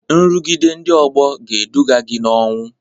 Nrụgide ndị ọgbọ ga-eduga gị n'ọnwụ